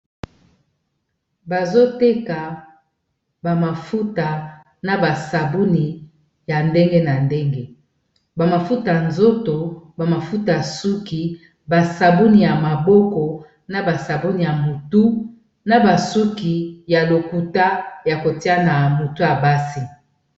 Bazoteka ba mafuta na basabuni ya ndenge na ndenge ba mafutay nzoto, ba mafuta ya suki, ba sabuni ya maboko na basabuni ya motu na basuki ya lokuta ya kotia na motu ya basi.